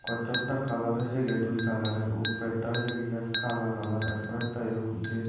কচ্ছপটা colour হইছেগে দুই কালারের উফরেরটা হইছেগি যা কালা কালার এর পরেরটা --